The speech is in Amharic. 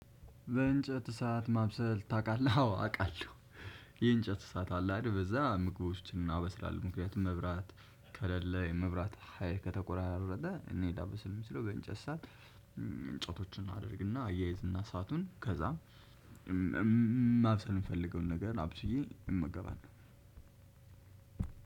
በእንጨት እሳት ማብሰል ታውቃለህ? አዎ አውቃለሁ የእንጨት ሰዓት አለ አይደል በዛ ምግቦችን እናበስላለን። ምክንያቱም መብራት ከለለ የመብራት ሀይል ከተቆራረጠ እኔ ላበስል የምችለው እንጨት እሳት አድርግና አያያዝ እና እሳቱን ከዛ ማብሰል የምፈልገውን ነገር አብስዬ እመገባለሁ።